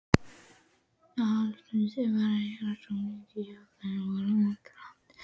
Eldhúsið hennar var griðastaður svo margra, já þeir voru óteljandi.